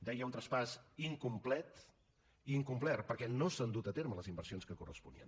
deia un traspàs incomplet i incomplert perquè no s’han dut a terme les inversions que corresponien